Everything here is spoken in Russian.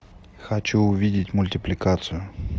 хочу увидеть мультипликацию